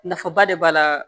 Nafaba de b'a la